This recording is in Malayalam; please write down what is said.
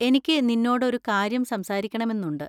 എനിക്ക് നിന്നോട് ഒരു കാര്യം സംസാരിക്കണമെന്നുണ്ട്.